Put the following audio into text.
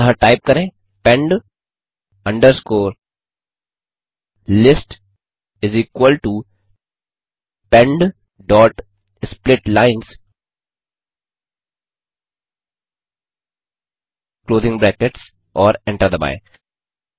अतः टाइप करें pend underscore list is equal to pend dot split lines closing brackets और enter दबाएँ